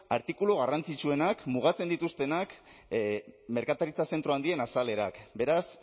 artikulu garrantzitsuenak mugatzen dituztenak merkataritza zentro handien azalerak beraz